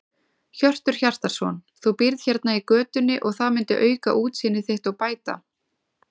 Hjörtur Hjartarson: Þú býrð hérna í götunni og það myndi auka útsýni þitt og bæta?